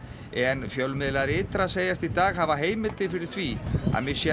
en fjölmiðlar ytra segjast í dag hafa heimildir fyrir því að